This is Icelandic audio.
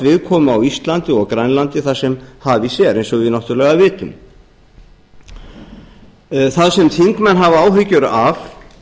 viðkomu á íslandi og grænlandi þar sem hafís er eins og við náttúrlega vitum það sem þingmenn hafa áhyggjur af